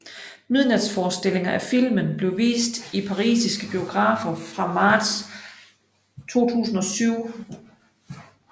Midnatsforestillinger af filmen blev vist i parisiske biografer fra marts 2007